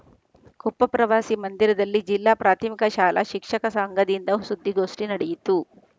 ಕೊಪ್ಪ ಪ್ರವಾಸಿ ಮಂದಿರದಲ್ಲಿ ಜಿಲ್ಲಾ ಪ್ರಾಥಮಿಕ ಶಾಲಾ ಶಿಕ್ಷಕ ಸಂಘದಿಂದ ಸುದ್ಧಿಗೋಷ್ಠಿ ನಡೆಯಿತು